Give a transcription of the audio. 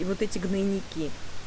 и вот эти гнойники